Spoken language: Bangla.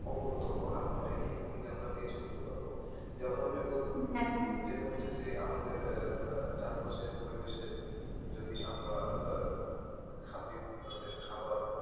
অবগত হবো আর মানে এইখান থেকে আমরা বেঁচে উঠতে পারবো যেমন যেটা হচ্ছে যে আমাদের যে চারপাশের পরিবেশের যদি আমরা স্বাধীন ধরনের খাবার,